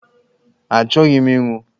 Achọghị m inwụ!